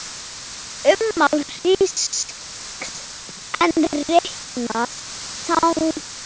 Ummál hrings er reiknað þannig